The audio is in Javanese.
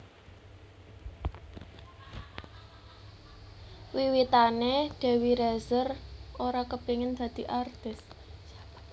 Wiwitané Dewi Rezer ora kepengin dadi artis